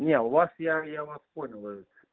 не у вас я я вас понял